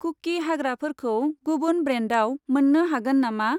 कुकि हाग्राफोरखौ गुबुन ब्रेन्डाव मोन्नो हागोन नामा?